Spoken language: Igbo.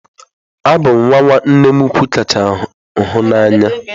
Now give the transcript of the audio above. Abụ m nwa nwa nnem ụkwụ kacha hụ na anya.